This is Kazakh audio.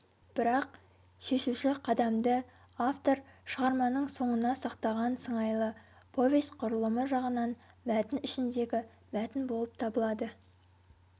бірақ шешуші қадамды автор шығарманың соңына сақтаған сыңайлы повесть құрылымы жағынан мәтін ішіндегі мәтін болып табылады